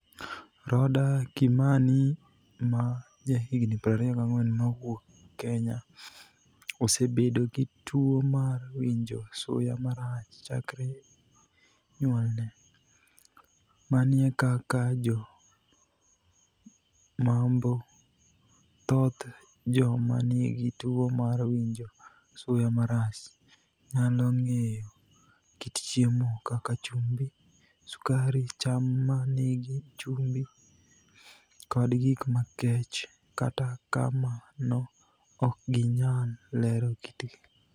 Rodah Kimanii, ma jahiginii 24 mawuok Keniya osebedo gi tuwo mar winijo suya marach chakre niyuolni e. Mania kaka Jo-Mamboi, thoth joma niigi tuwo mar winijo suya marach, niyalo nig'eyo kit chiemo kaka chumbi, sukari, cham ma niigi chumbi, kod gik makech, kata kamano ok giniyal lero kitgi.